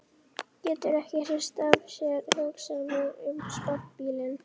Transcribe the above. Getur ekki hrist af sér hugsanirnar um sportbílinn.